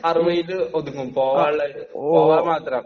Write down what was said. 60 ല് ഒതുങ്ങും..പോകാൻ മാത്രം..